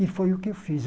E foi o que eu fiz.